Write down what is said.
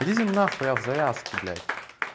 иди на хуй я в завязке блять